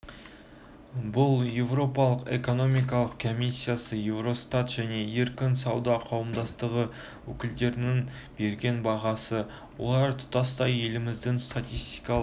бұл еуропалық экономикалық комиссиясы еуростат және еркін сауда қауымдастығы өкілдерінің берген бағасы олар тұтастай еліміздің статистикалық